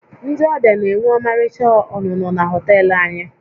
Ndị ọbịa na-enwe ọmarịcha ọnụnọ na họtel anyị